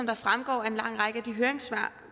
der fremgår af en lang række af de høringssvar